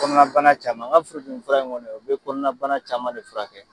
kɔnɔna bana caman n ka furudimi fura in kɔnɔ o be kɔnɔna bana caman de furakɛ.